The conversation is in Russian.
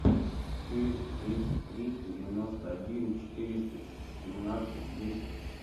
четыреста тридцать три девяносто один четыреста семнадцать десять